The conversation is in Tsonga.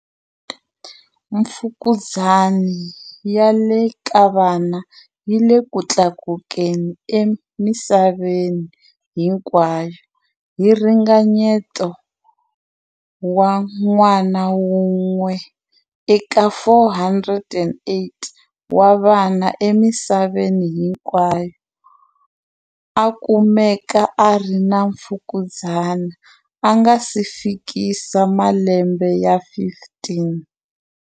Mfukuzani ya le ka vana yi le ku tlakukeni emisa veni hinkwayo, hi ringanyeto wa n'wana wun'we eka 408 wa vana emisaveni hinkwayo a kumekaka a ri na mfukuzani a nga si fikisa malembe ya 15.